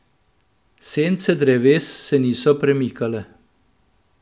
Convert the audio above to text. Sence dreves se niso premikale.